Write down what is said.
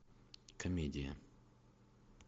комедия